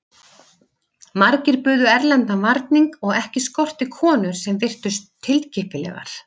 Margir buðu erlendan varning og ekki skorti konur sem virtust tilkippilegar.